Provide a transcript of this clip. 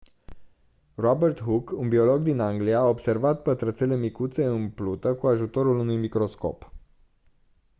robert hooke un biolog din anglia a observat pătrățele micuțe în plută cu ajutorul unui microscop